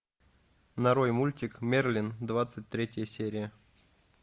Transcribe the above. нарой мультик мерлин двадцать третья серия